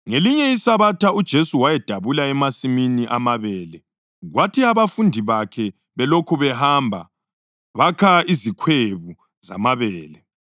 Ngelinye iSabatha uJesu wayedabula emasimini amabele, kwathi abafundi bakhe belokhu behamba bakha izikhwebu zamabele.